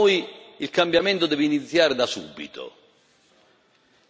Per ciò che riguarda noi, il cambiamento deve iniziare da subito.